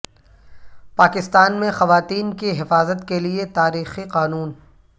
پاکستان میں خواتین کی حفاظت کے لئے تاریخی قانون